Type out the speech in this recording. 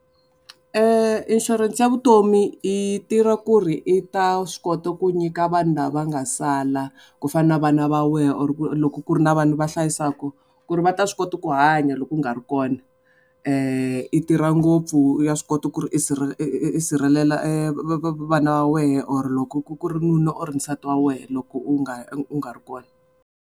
Inshurense ya vutomi i tirha ku ri i ta swi kota ku nyika vanhu lava nga sala ku fana na vana va wena or ku loko ku ri na vanhu va hlayisaka ku ri va ta swi kota ku hanya loko u nga ri kona i tirha ngopfu ya swi kota ku ri i i sirhelela vana va wena or loko ku ri nuna or nsati wa wena loko u nga u nga ri kona.